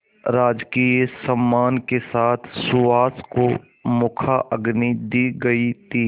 राजकीय सम्मान के साथ सुहास को मुखाग्नि दी गई थी